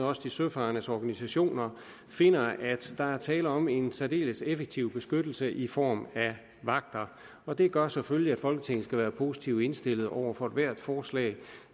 også de søfarendes organisationer finder at der er tale om en særdeles effektiv beskyttelse i form af vagter og det gør selvfølgelig at folketinget skal være positivt indstillet over for ethvert forslag